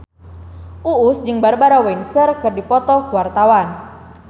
Uus jeung Barbara Windsor keur dipoto ku wartawan